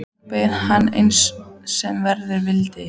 Nú beið hann þess, sem verða vildi.